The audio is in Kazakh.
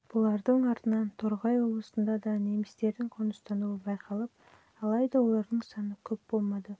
бұлардың артынан торғай облысында да немістердің қоныстануы байқалып алайда олардың саны көп болмады